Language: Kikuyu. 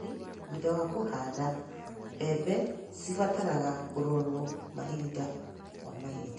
ũrori: Thutha wa kũhanda, mbembe cibataraga kũrorwo mahinda kwa mahinda.